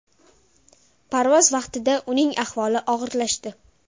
Parvoz vaqtida uning ahvoli og‘irlashdi.